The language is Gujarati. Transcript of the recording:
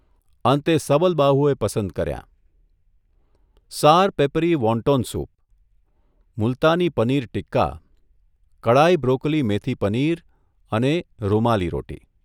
અંતે સબલબાહુએ પસંદ કર્યાંઃ sour peppery wonton soup, Multani paneer tikka, kadai broccoli methi paneer અને રૂમાલી રોટી